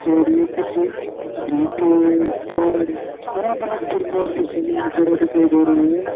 और ये कुछ गीटे पेड़ अलग अलग प्रकार के समान पड़ा दिखाई दे रहा है।